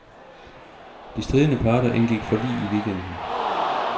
De stridende parter indgik forlig i weekenden.